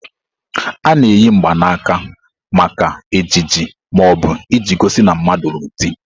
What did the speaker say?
A na-eyi mgbanaka maka ejiji ma ọ bụ iji gosi na mmadu lụrụ di.